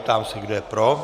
Ptám se, kdo je pro.